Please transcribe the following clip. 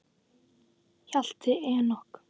Hjalti Enok.